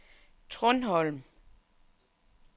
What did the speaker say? Trundholm